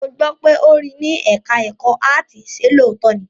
Mo gbọ́ pé ó rí ní ẹ̀ká ẹ̀kọ́ áàtì, ṣe lóòótọ́ ni?